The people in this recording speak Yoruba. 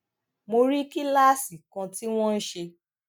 mo rí kíláàsì kan tí wón ń ṣe